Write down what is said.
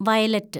violet